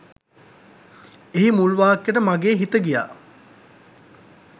එහි මුල් වාක්‍යට මගේ හිත ගියා.